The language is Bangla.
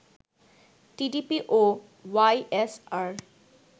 টিডিপি ও ওয়াইএসআর